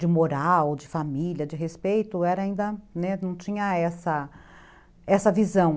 de moral, de família, de respeito, era ainda, né, não tinha essa essa visão.